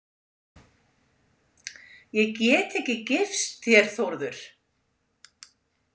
Ég get ekki gifst þér, Þórður